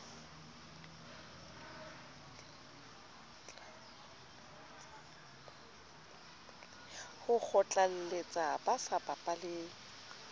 ho kgotlalletsa ba sa bapaleng